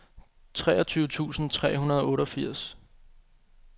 treogtyve tusind tre hundrede og otteogfirs